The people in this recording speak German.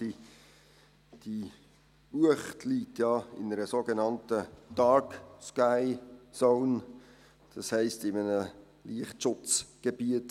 Die Uecht liegt ja in einer sogenannten «Dark Sky Zone», das heisst, in einem Lichtschutzgebiet.